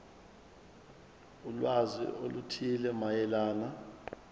ulwazi oluthile mayelana